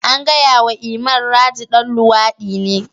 An gaya wa Iman, Raji dan luwadi ne.